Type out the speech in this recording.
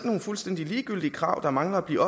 nogle fuldstændig ligegyldige krav der mangler at blive